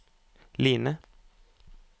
Line